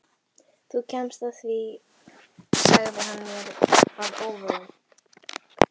Þú kemst að því sagði hann mér að óvörum.